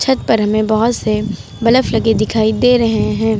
छत पर हमें बहोत से बलफ लगे दिखाई दे रहे हैं।